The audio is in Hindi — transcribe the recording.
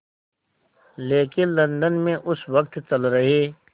लेकिन लंदन में उस वक़्त चल रहे